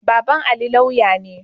Baban Ali lauya ne.